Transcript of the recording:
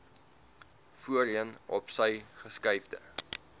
voorheen opsy geskuifde